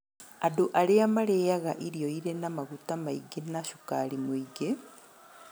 Andũ arĩa marĩĩaga irio irĩ na maguta maingĩ na cukari mũingĩ